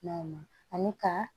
N'aw ani ka